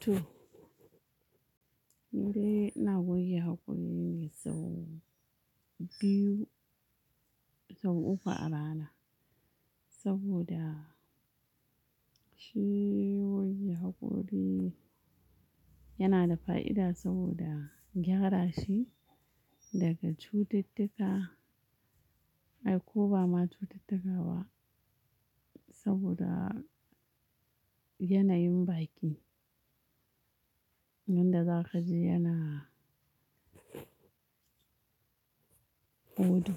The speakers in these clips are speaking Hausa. To nidai ina goge hakori sau biyu sau uku a rana saboda shi goge haƙori yana da fa'ida saboda gyara shi daga cututtuka. Ai, ko ba ma cututtuka ba saboda yana yin baki. Wanda za ka ji yana odo.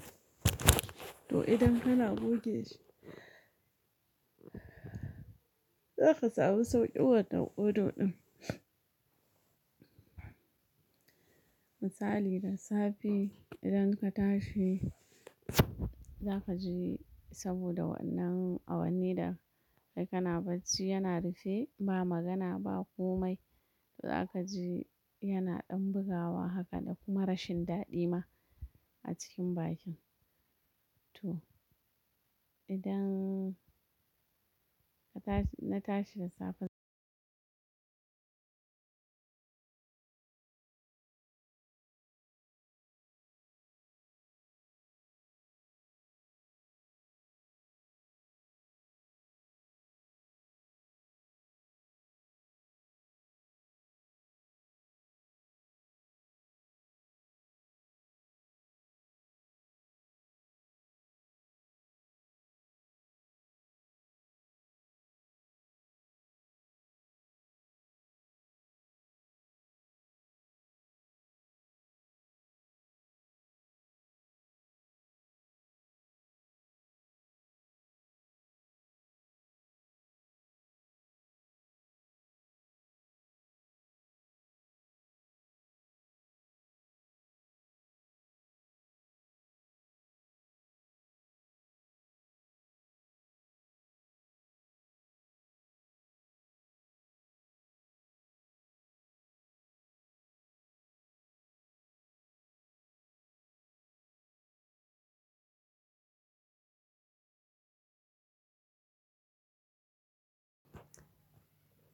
To idan kana goge shi za ka samu sauƙin wannan odon ɗin. Misali da safe idan ka tashi za ka ji saboda wannan awanni da ai kana bacci yana rufe ba magana ba komai. Za ka ji yana ɗan bugawa haka da kuma rashin daɗi ma a cikin bakin. To, idan ka tashi na tashi da safen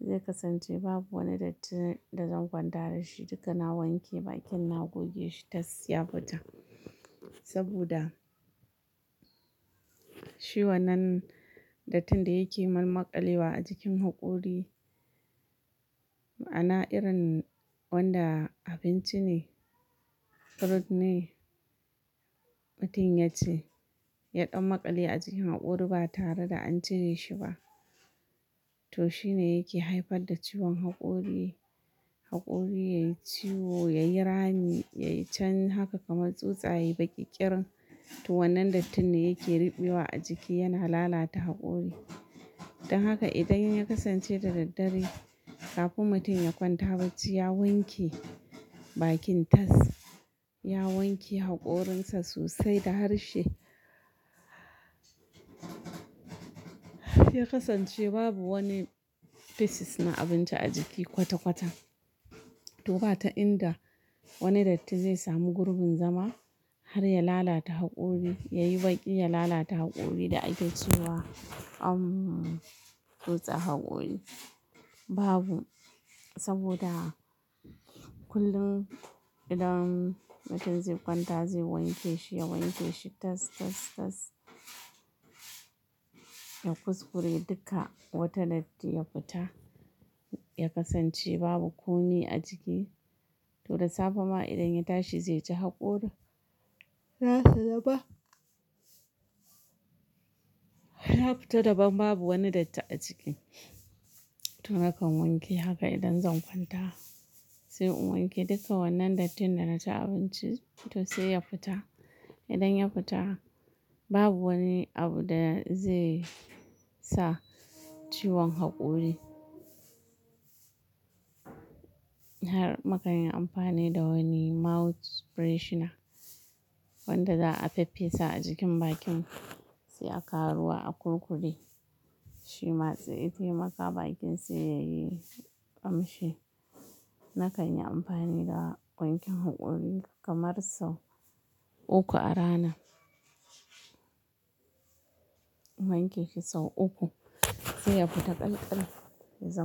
zai kasance babu wani datti da zan kwanta da shi. Duka na wanke bakin, na goge shi tas ya fita. Saboda shi wannan dattin da yake malmalƙalewa a jikin haƙori, ma'ana irin wanda abinci ne, fruit ne, mutum ya ci. Ya ɗan maƙale a jikin haƙori ba tare da an cire shi ba. To shine yake haifar da ciwon hakori haƙori yayi ciwo, yayi rami, yayi cen haka kamar tsutsa yai baƙiƙƙirin. To wannan dattin ne yake ruɓewa a jiki yana lalata haƙori. Don haka idan ya kasance da daddare kafin mutum ya kwanta bacci, ya wanke bakin tas, ya wanke haƙorinsa sosai da harshe. Ya kasance babu wani fisis na abinci a jiki kwata-kwata. To ba ta inda wani datti zai samu gurbin zama har ya lalata haƙori, yayi baƙi, ya lalata haƙori da ake cewa an tsutsa haƙori. Babu saboda kullum idan mutum zai kwanta zai wanke shi, ya wanke shi tas, tas, tas. Ka kuskure duka wata datti ya futa ya kasance babu komai a ciki to da safe ma idan ya tashi zai ci haƙori, za su raba. Ya fita daban babu wani datti a jiki. To nakan wanke haka idan zan kwanta. Sai in wanke duka wannan dattin da na ci abinci to sai ya fita. Idan ya fita babu wani abu da zai sa ciwon haƙori. Har mukanyi amfani da wani mouth freshener wanda za a faffesa a jikin bakin sai a kawo ruwa a kurkude. Shima zai taimaka bakin sai yayi ƙamshi. Na kan yi amfani da wankin haƙori kamar sau uku a rana. Wanke shi sau uku, sai ya fita ƙalƙal ya zama.